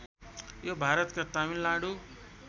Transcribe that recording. यो भारतका तमिलनाडु